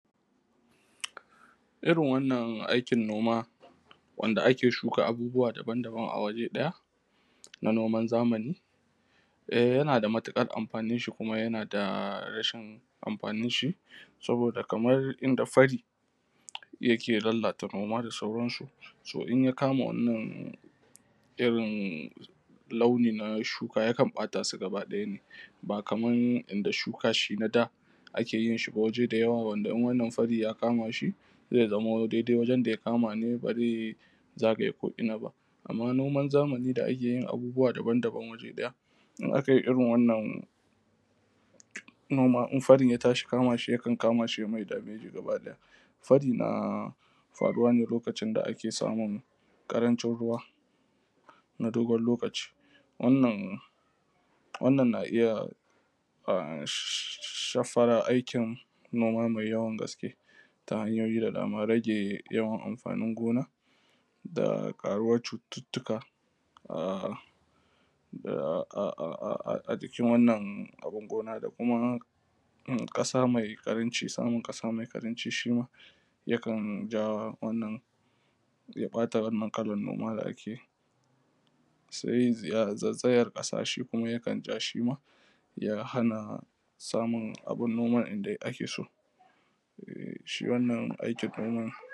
Irin wannan aikin noma wanda ake shuka abubuwa daban-daban a waje ɗaya na noman zamani, eh yana da matuƙar amfanin shi kuma yana da rashin amfanin shi, saboda kamar inda fari yake lallata noma da sauransu, so in ya kama irin wannan launi na shuka yakan ɓata su gaba ɗaya ne, ba kaman inda shuka shi na da ake yin shi ba waje dayawa wanda in wannan fari ya kama shi zai dai-dai wajen da ya kama ne ba zai zagaye ko’ina ba. Amma noman zamani da ake yin abubuwa daban-daban waje ɗaya, in aka yi irin wannan noma in fari ya tashi kama shi yakan kama shi ya mai dameji gaba ɗaya. Fari na faruwa ne lokacin da ake samun ƙarancin ruwa na dogon lokaci, wannan na iya shafar aikin noma mai yawan gaske, ta hanyoyi da dama. Rage yawan amfanin gona da ƙaruwar cututtuka ahh, ahhh a jikin wannan amfanin gona da kuma ƙasa mai ƙaranci, samun ƙasa mai ƙaranci shima yakan ja wannan, ya ɓata wannan kalan noma da ake yi. Sai zaizayar ƙasa shi kuma yakan ja shima ya hana samun abun noma yanda ake so. Shi wannan aikin noman